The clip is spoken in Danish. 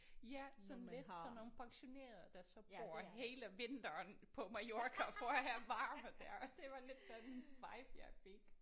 Ja sådan lidt sådan nogle pensionerede der så bor hele vinteren på Mallorca for at have varme der og det var lidt den vibe jeg fik